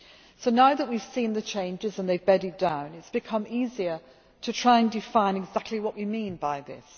So now that we have seen the changes and they have bedded down, it has become easier to try and define exactly what we mean by this.